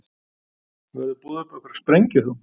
Verður boðið upp á einhverja sprengju þá?